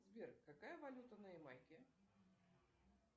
сбер какая валюта на ямайке